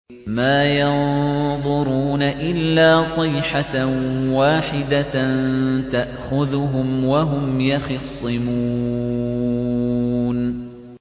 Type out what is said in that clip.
مَا يَنظُرُونَ إِلَّا صَيْحَةً وَاحِدَةً تَأْخُذُهُمْ وَهُمْ يَخِصِّمُونَ